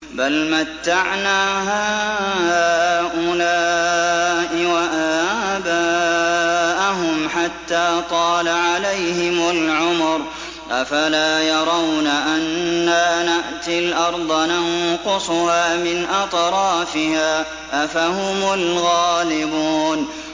بَلْ مَتَّعْنَا هَٰؤُلَاءِ وَآبَاءَهُمْ حَتَّىٰ طَالَ عَلَيْهِمُ الْعُمُرُ ۗ أَفَلَا يَرَوْنَ أَنَّا نَأْتِي الْأَرْضَ نَنقُصُهَا مِنْ أَطْرَافِهَا ۚ أَفَهُمُ الْغَالِبُونَ